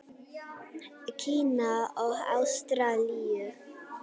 Kína og Ástralíu.